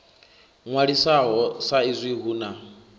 ṅwalisaho sa izwi hu na